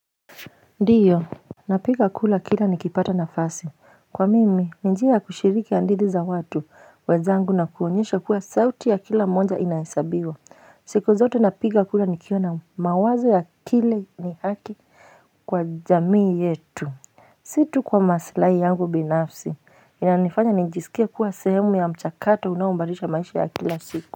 Ndiyo napiga kula kila nikipata nafasi kwa mimi njia kushiriki hadithi za watu wenzangu na kuonyesha kuwa sauti ya kila moja inahesabiwa siku zote napiga kura nikiwa na mawazo ya kile ni haki kwa jamii yetu si tu kwa maslahi yangu binafsi inanifanya nijisikie kuwa sehemu ya mchakato unaobadilisha maisha ya kila siku.